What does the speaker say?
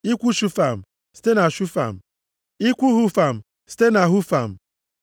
Ikwu Shufam site na Shufam, ikwu Hufam site na Hufam.